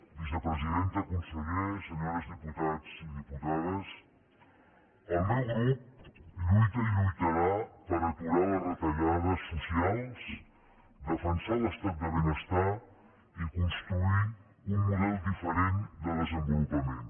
vicepresidenta conseller senyores diputats i diputades el meu grup lluita i lluitarà per aturar les retallades socials defensar l’estat del benestar i construir un model diferent de desenvolupament